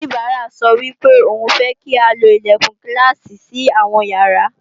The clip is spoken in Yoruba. oníbàárà sọ wípé òun fẹ́ kí a lo Ilẹ̀kùn Gíláàsì sí àwọn ìyàrá